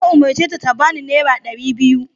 Ya umarce ta ta bani naira dari biyu!